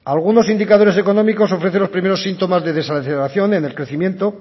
algunos indicadores económicos ofrecen los primeros síntomas de desaceleración en el crecimiento